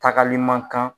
Tagali man kan